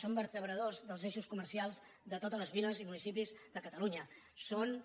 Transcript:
són vertebradors dels eixos comercials de totes les viles i municipis de catalunya són